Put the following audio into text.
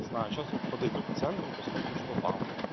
знаю сейчас вот подойду к центру посмотрю что там